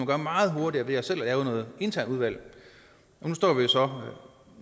gøre meget hurtigere ved selv at lave et internt udvalg nu står vi jo så her